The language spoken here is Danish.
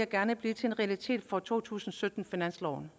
gerne blive til en realitet fra to tusind og sytten finansloven